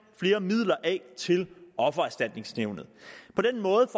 flere midler af til offererstatningsnævnet på den måde